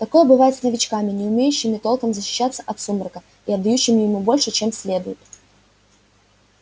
такое бывает с новичками не умеющими толком защищаться от сумрака и отдающими ему больше чем следует